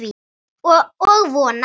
Og vona.